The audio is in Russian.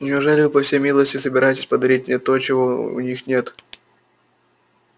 неужели вы по всей милости собираетесь подарить мне то чего у них нет